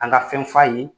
An ka fɛn f'a ye